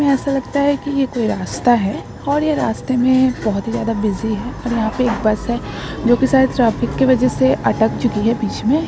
ऐसा लगता है कि ये कोई रास्ता है और ये रास्ते में बहुत ही ज्यादा बिजी है और यहाँ पे एक बस है जो कि शायद ट्रैफिक के वजह से अट चुकी है बीच में।